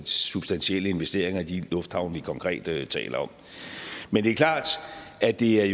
substantielle investeringer i de lufthavne vi konkret taler taler om men det er klart at det er